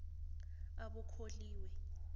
abokholiwe